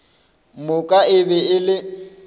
moka e be e le